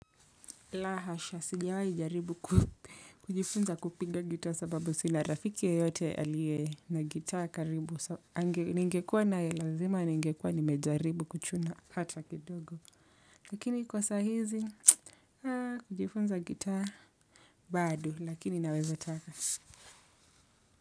La hasha, sijawai jaribu kujifunza kupinga gitaa sababu sina rafiki yeyote alie na gitaa karibu. Ningekuwa nae lazima ningekuwa nimejaribu kuchuna hata kidogo. Lakini kwa sahizi, kujifunza gitaa bado, lakini naweza taka.